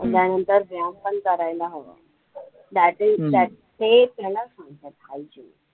त्याच्यानंतर व्यायाम पण करायला हवं ते त्यालाचं म्हणतात hygiene